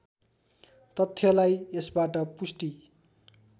तथ्यलाई यसबाट पुष्टि